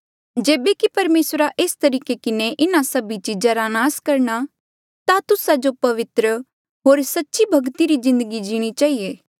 जेबे कि परमेसरा एस तरीके किन्हें इन्हा सभी चीजा रा नास करणा ता तुस्सा जो पवित्र होर सच्ची भक्ति री जिन्दगी जीणी चहिए